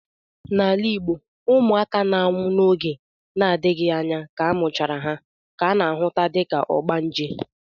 N'ala Igbo, ụmụaka na-anwụ n'oge na-adịghị anya ka amụchara ha ka ana ahụta dịka ogbanje.